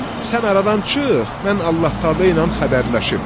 Sən aradan çıx, mən Allah-Taala ilə xəbərləşim.